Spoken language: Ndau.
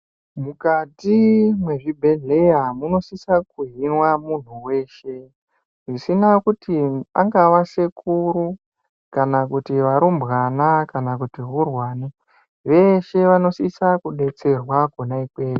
Mukati mwezvibhedhleya munosisa kuhinwa munhu weshe zvisina kuti angawa sekuru, kana kuti varumbwana kana hurwani, vese vanosisa kudetserwa kona ikweyo.